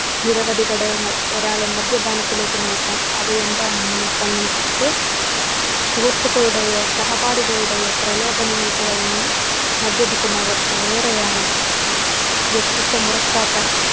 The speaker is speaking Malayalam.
നിരവധി ഘടകങ്ങൾ ഒരാളെ മദ്യപാനത്തിലേക്ക് നയിക്കാം. അവ എന്താണെന്നു നോക്കാം നമുക്കൊക്കെ. സുഹൃത്തുക്കളുടെയോ സഹപാഠികളുടെയോ പ്രലോഭനങ്ങൾക് വഴങ്ങി മദ്യപിക്കുന്നവർ ഏറെയാണ്. വ്യത്യസ്ഥ മുറക്കാത്ത